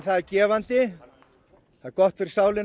gefandi gott fyrir sálin